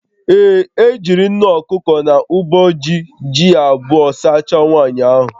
Ee, e jiri nne okuko na uboji ji abụọ sachaa nwaanyị ahụ